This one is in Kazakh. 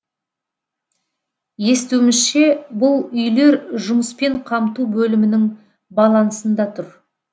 естуімізше бұл үйлер жұмыспен қамту бөлімінің балансында тұр